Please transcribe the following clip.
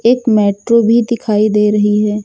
एक मेट्रो भी दिखाई दे रही है।